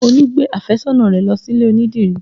Olú gbé àfẹ́sọ́nà rẹ lọ sílè onídìrí